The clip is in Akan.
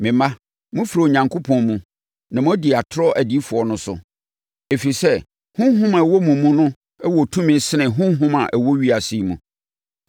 Me mma, mofiri Onyankopɔn mu na moadi atorɔ adiyifoɔ no so, ɛfiri sɛ, Honhom a ɛwɔ mo mu no wɔ tumi sene honhom a ɛwɔ ewiase yi mu.